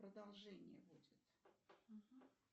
продолжение будет